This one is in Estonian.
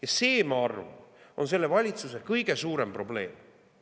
Ja ma arvan, et see on selle valitsuse kõige suurem probleem.